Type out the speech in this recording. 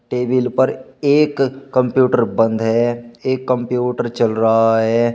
Table पर एक computer बंद है एक कंप्यूटर चल रहा है।